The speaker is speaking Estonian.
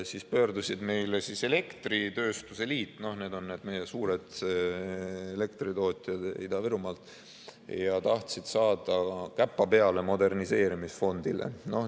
Meie poole pöördus elektritööstuse liit – need on need meie suured elektritootjad Ida-Virumaalt – ja tahtis saada käppa peale moderniseerimisfondile.